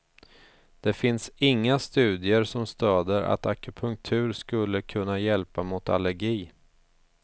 Det finns inga studier som stöder att akupunktur skulle kunna hjälpa mot allergi.